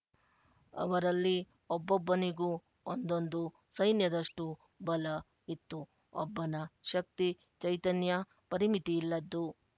ಅವರಲ್ಲಿ ಒಬ್ಬೊಬ್ಬನಿಗೂ ಒಂದೊಂದು ಸೈನ್ಯದಷ್ಟು ಬಲ ಇತ್ತು ಒಬ್ಬನ ಶಕ್ತಿ ಚೈತನ್ಯ ಪರಿಮಿತಿಯಿಲ್ಲದ್ದು